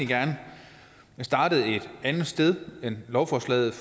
gerne starte et andet sted end lovforslaget